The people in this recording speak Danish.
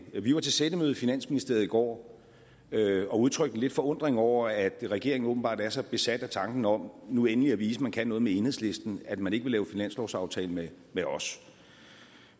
vi var til sættemøde i finansministeriet i går og udtrykte lidt forundring over at regeringen åbenbart er så besat af tanken om nu endelig at vise man kan noget med enhedslisten at man ikke vil lave finanslovsaftale med med os